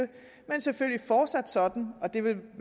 men selvfølgelig fortsat sådan og det vil